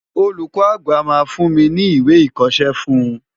Olùkọ́ àgbà máa fún mi ní ìwé ìkọṣẹ́ fún un.